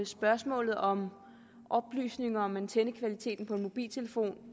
spørgsmålet om oplysninger om antennekvaliteten på en mobiltelefon